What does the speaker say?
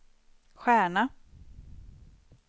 stjärna